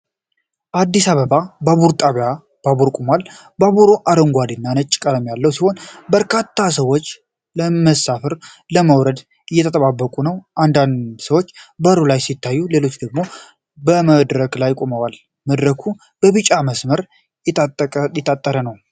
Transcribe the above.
በአዲስ አበባ ባቡር ጣቢያ ባቡር ቆሟል። ባቡሩ አረንጓዴና ነጭ ቀለም ያለው ሲሆን በርካታ ሰዎች ለመሳፈር ወይም ለመውረድ እየተጠባበቁ ነው። አንዳንድ ሰዎች በሩ ላይ ሲታዩ፣ ሌሎች ደግሞ በመድረኩ ላይ ይቆማሉ። መድረኩ በቢጫ መስመር የታጠረ ነው።